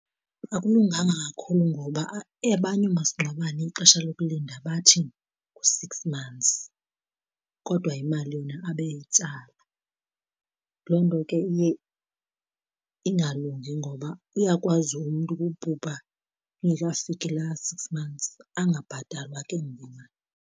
Akulunganga kakhulu ngoba abanye oomasingcwabane ixesha lokulinda bathi ngu-six months kodwa imali yona abe eyitsala. Loo nto ke iye ingalungi ngoba uyakwazi umntu ukubhubha ingekafiki laa six months angabhatalwa ke ngoku imali.